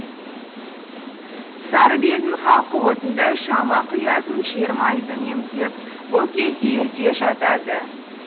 сарыбелдің халқы отынды шамға құятын жер майды үнемдеп бұл кезде ерте жатады